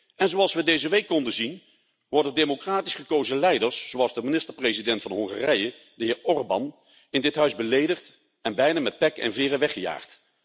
En, zoals we deze week konden zien, worden democratisch gekozen leiders, zoals de minister president van Hongarije, de heer Orbán, in dit parlement beledigd en bijna met pek en veren weggejaagd.